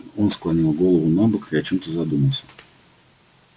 он склонил голову набок и о чём-то задумался